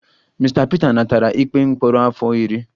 Mr Peter natara ikpe mkpọrọ afọ iri